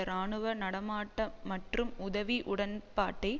இராணுவ நடமாட்ட மற்றும் உதவி உடன்பாட்டை